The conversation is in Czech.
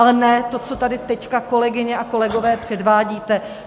Ale ne to, co tady teď, kolegyně a kolegové, předvádíte.